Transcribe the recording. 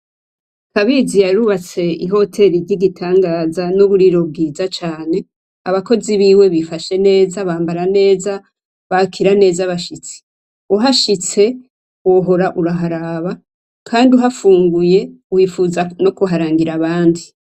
Kabizi yarubatse I hoteri y'igitangaza n'uburiro bwiza cane abakozi biwe bifashe neza cane, bambara neza ,bakira neza abashitsi, uhahitse wohora uraharaba kandi uhafunguriye wifuza no kuharangira abandi.